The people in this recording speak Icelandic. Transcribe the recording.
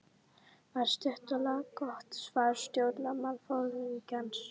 var stutt og laggott svar stjórnmálaforingjans.